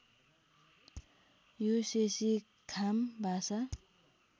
यो शेशी खाम भाषा